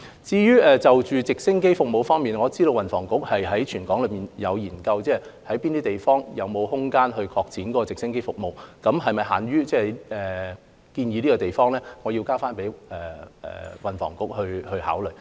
至於直升機服務，我知道運輸及房屋局有就全港哪些地方能夠擴展直升機服務進行研究，但是否限於現時建議的地方，我要交回運輸及房屋局考慮。